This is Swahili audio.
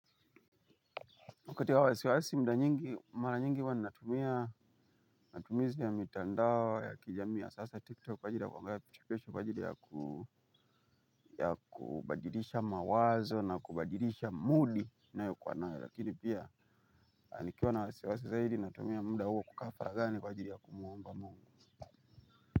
Wakati wa wasiwasi muda nyingi, mara nyingi huwa ninatumia, matumizi ya mitandao ya kijamii ya sasa tiktok kwa ajili kwangalia vichekesho kwa ajili ya ku ya kubadilisha mawazo na kubadilisha moodi ninayokuwanayo lakini pia nikiwa na wasiwasi zaidi natumia muda huo kukaa faraghani kwa ajili ya kumwomba mungu.